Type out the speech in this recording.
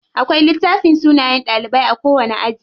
Akwai littafin sunayen ɗalibai a kowani aji.